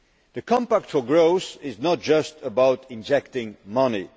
The Compact for Growth is not just about injecting money.